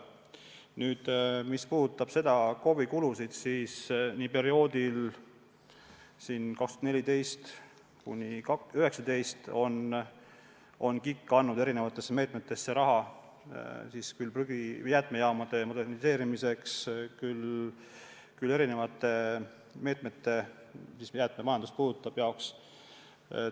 Mis puudutab KOV-ide kulusid, siis perioodil 2014–2019 andis KIK erinevate meetmete raames raha küll jäätmejaamade moderniseerimiseks, küll muude jäätmemajandust puudutavate ettevõtmiste jaoks.